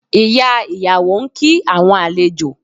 Ìyá ìyàwó ń kí àwọn àlejò